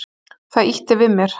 Það ýtti við mér.